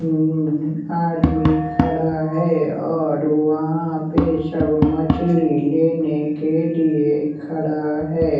आदमी खड़ा है और वहां पे सब मछली लेने के लिए खड़ा है।